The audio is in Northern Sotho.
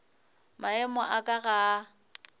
maemo a ka ga a